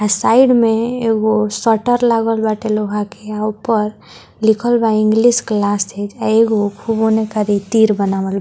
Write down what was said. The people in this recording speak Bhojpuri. अ साइड में एगो सटर लागल बाटे लोहा के अ उप्पर लिखल बा इंग्लिश क्लासेस अ एगो खूब ओने कारी तीर बनावल --